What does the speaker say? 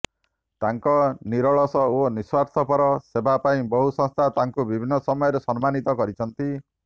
ତାଙ୍କ ନିରଳସ ଓ ନିଃସ୍ୱାର୍ଥପର ସେବା ପାଇଁ ବହୁ ସଂସ୍ଥା ତାଙ୍କୁ ବିଭିନ୍ନ ସମୟରେ ସମ୍ମାନିତ କରିଛନ୍ତି